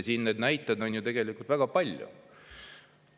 Neid näiteid on ju tegelikult väga palju.